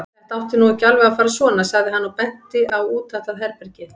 Þetta átti nú ekki alveg að fara svona, sagði hann og benti á útatað herbergið.